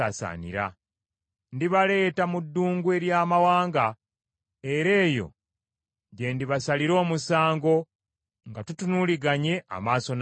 Ndibaleeta mu ddungu ery’amawanga, era eyo gye ndibasalira omusango nga tutunuuliganye amaaso n’amaaso.